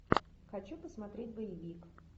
хочу посмотреть боевик